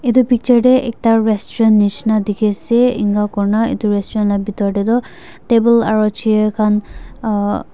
itu picture tey ekta restaurant nishina dikhiase enakurina itu restaurant la bitor tey toh table aru chair khan uhh --